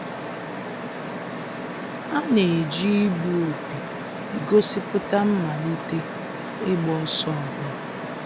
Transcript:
A na-eji igbu opi egosipụta mmalite ịgba ọsọ ọbụla